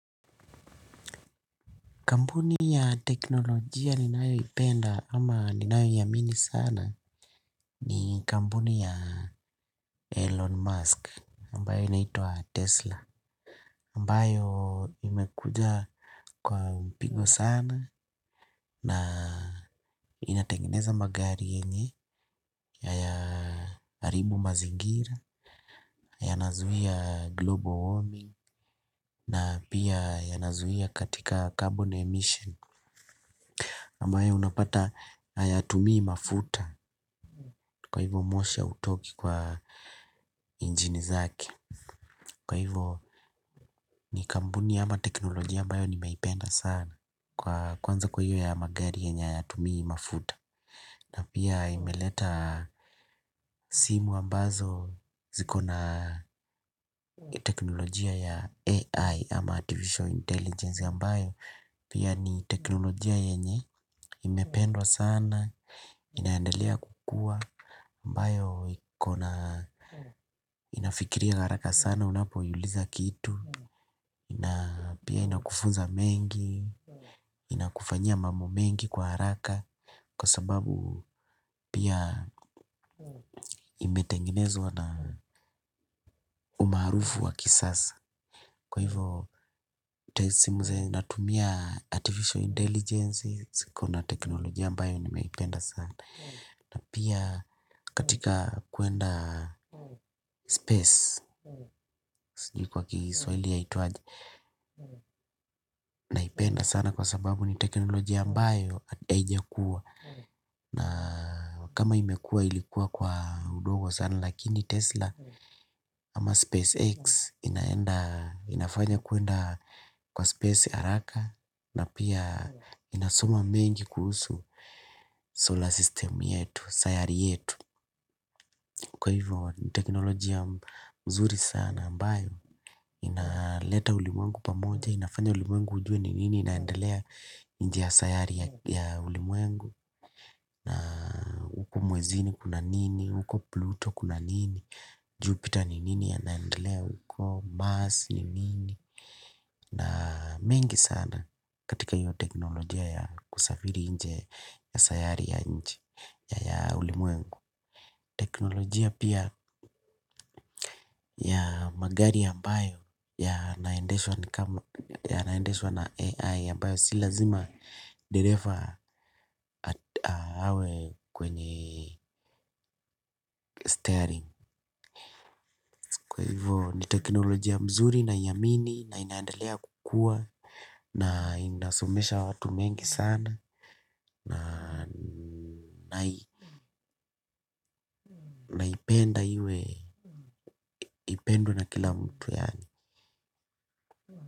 Kampuni ya teknolojia ninayo ipenda ama ninayo iamini sana ni kampuni ya Elon Musk ambayo inaitwa Tesla. Ambayo imekuja kwa mpigo sana na inatengeneza magari yenye haya haribu mazingira, ya nazuia global warming na pia ya nazuia katika carbon emission. Ambayo unapata hayatumii mafuta kwa hivo moshi hautoki kwa injini zake kwa hivo ni kampuni ama teknolojia ambayo nimeipenda sana kwa kwanza kwa hiyo ya magari yenye hayatumii mafuta na pia imeleta simu ambazo zikona teknolojia ya AI ama artificial intelligence ambayo pia ni teknolojia yenye imependwa sana. Inaendelea kukua ambayo ikona inafikiria haraka sana. Unapo iuliza kitu. Pia inakufunza mengi. Inakufanyia mambo mengi kwa haraka. Kwa sababu pia imetengenezwa na umaarufu wa kisasa. Kwa hivo simu zenye zinatumia artificial intelligence ziko na teknolojia ambayo nimeipenda sana. Na pia katika kuenda space sijui kwa kiswahili yaitwaje. Naipenda sana kwa sababu ni teknolojia ambayo haijakua. Na kama imekua ilikuwa kwa udogo sana. Lakini Tesla ama SpaceX inafanya kuenda kwa space haraka. Na pia inasoma mengi kuhusu solar system yetu sayari yetu. Kwa hivyo, ni teknolojia nzuri sana ambayo, inaleta ulimwengu pamoja, inafanya ulimwengu ujue ni nini inaendelea nje ya sayari ya ulimwengu. Na mwezini kuna nini, uko Pluto kuna nini, Jupiter ni nini ya naendelea huko Mars ni nini. Na mengi sana katika hiyo teknolojia ya kusafiri nji ya sayari ya nji ya ulimuengu. Teknolojia pia ya magari ambayo ya naendeshwa ni kama ya naendeshwa na AI ambayo si lazima dereva awe kwenye steering. Kwa hivo ni teknolojia mzuri na iamini na inaendelea kukua na inasomesha watu mengi sana naipenda iwe inapendwa na kila mtu yaani.